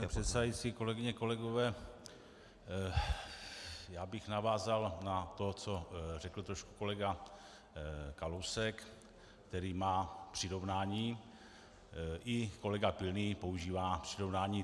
Pane předsedající, kolegyně, kolegové, já bych navázal na to, co řekl trošku kolega Kalousek, který má přirovnání, i kolega Pilný používá přirovnání.